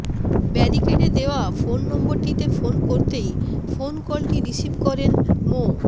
ব্যারিকেডে দেওয়া ফোন নম্বরটিতে ফোন করতেই ফোনকলটি রিসিভ করেন মো